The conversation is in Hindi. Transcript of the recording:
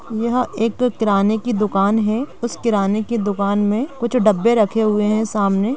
यहाँ एक किराने की दुकान है उस किराने की दुकान में कुछ डब्बे रखें हुए हैं सामने।